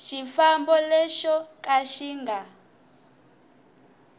xifambo lexo ka xi nga